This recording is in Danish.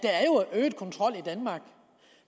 øget kontrol i danmark